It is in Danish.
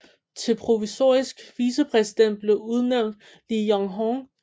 Til provisorisk vicepræsident blev udnævnt Li Yuanhong